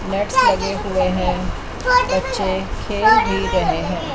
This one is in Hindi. नेट्स लगे हुए हैं बच्चे खेल भी रहे हैं।